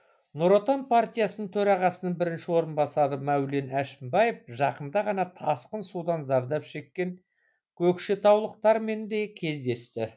нұр отан партиясы төрағасының бірінші орынбасары мәулен әшімбаев жақында ғана тасқын судан зардап шеккен көкшетаулықтармен де кездесті